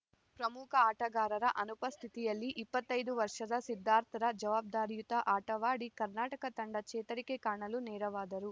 ಪ್ರಮುಖ ಆಟಗಾರರ ಅನುಪಸ್ಥಿತಿಯಲ್ಲಿ ಇಪ್ಪತ್ತ್ ಐದು ವರ್ಷದ ಸಿದ್ಧಾರ್ಥರ ಜವಾಬ್ದಾರಿಯುತ ಆಟವಾಡಿ ಕರ್ನಾಟಕ ತಂಡ ಚೇತರಿಕೆ ಕಾಣಲು ನೆರವಾದರು